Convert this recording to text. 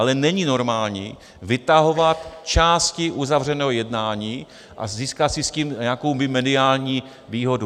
Ale není normální vytahovat části uzavřeného jednání a získat si s tím nějakou mediální výhodu.